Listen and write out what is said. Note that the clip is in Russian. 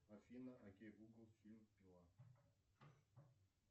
афина окей гугл фильм пила